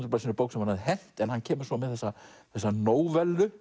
blaðsíðna bók sem hann hafi hent en hann kemur svo með þessa þessa